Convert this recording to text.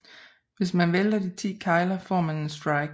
Hvis man vælter de ti kegler får man en strike